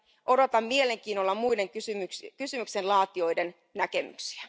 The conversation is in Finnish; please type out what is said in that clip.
Odotan mielenkiinnolla muiden kysymyksen laatijoiden näkemyksiä.